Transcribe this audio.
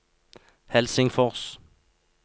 Helsingfors